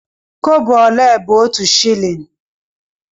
Kobo ole bụ otu shịlịn?